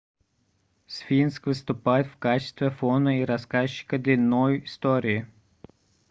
сфинкс выступает в качестве фона и рассказчика длинной истории